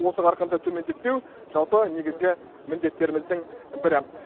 осы қарқынды төмендетпеу жалпы негізгі міндеттеріміздің бірі